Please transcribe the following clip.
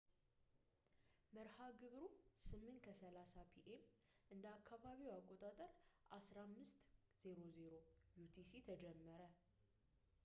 መርሃ ግብሩ 8:30 ፒ.ኤም እንደ አካባቢው አቆጣጠር 15.00 ዩቲሲ ተጀመረ